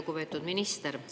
Lugupeetud minister!